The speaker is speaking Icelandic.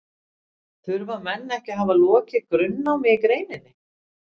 þurfa menn ekki að hafa lokið grunnnámi í greininni